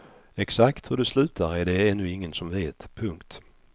Exakt hur det slutar är det ännu ingen som vet. punkt